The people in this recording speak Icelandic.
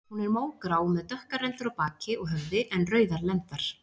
Hún er mógrá með dökkar rendur á baki og höfði en rauðar lendar.